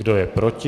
Kdo je proti?